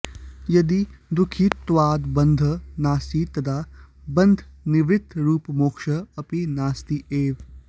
यदि दुःखित्वादिबन्धः नास्ति तदा बन्धनिवृत्तिरूपमोक्षः अपि नास्ति एव